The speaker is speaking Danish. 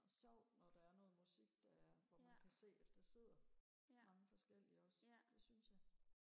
og sjovt når der er noget musik der er hvor man kan se at der sidder mange forskellige også det synes jeg